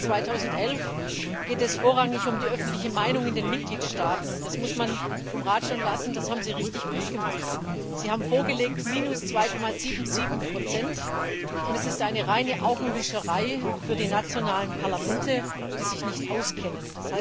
Im Haushalt 2011 geht es vorrangig um die öffentliche Meinung in den Mitgliedstaaten, und das muss man dem Rat lassen, das haben Sie wirklich gut gemacht. Sie haben minus 2,77 vorgelegt, das ist aber eine reine Augenwischerei für die nationalen Parlamente, die sich nicht auskennen.